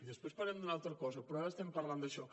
després parlarem d’una altra cosa però ara estem parlant d’això